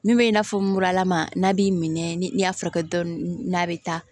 Min bɛ i n'a fɔ muralama n'a b'i minɛ ni y'a furakɛ dɔɔnin n'a bɛ taa